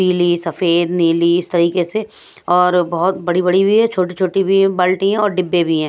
पीली सफेद नीली इस तरीके से और बहुत बड़ी-बड़ी भी है छोटी-छोटी भी बाल्टी है और डिब्बे भी हैं।